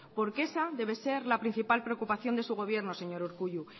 porque esa debe ser la principal preocupación de su gobierno señor urkullu